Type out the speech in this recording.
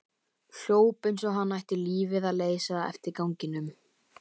Hljóp eins og hann ætti lífið að leysa eftir ganginum.